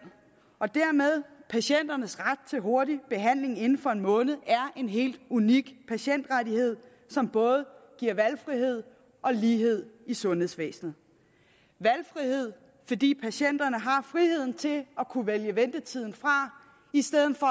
og dermed patienternes ret til hurtig behandling inden for en måned er en helt unik patientrettighed som både giver valgfrihed og lighed i sundhedsvæsenet valgfrihed fordi patienterne har friheden til at kunne vælge ventetiden fra i stedet for